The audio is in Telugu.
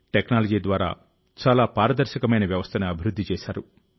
టెక్నాలజీ ద్వారా చాలా పారదర్శకమైన వ్యవస్థను అభివృద్ధి చేశారు